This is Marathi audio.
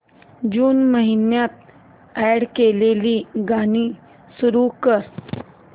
जून महिन्यात अॅड केलेली गाणी सुरू कर